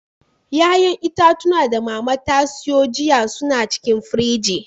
Ƴa'ƴan itatuwa da Mama ta siyo jiya su na cikin firji.